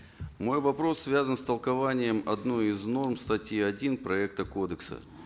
мой вопрос связан с толкованием одной из норм статьи один проекта кодекса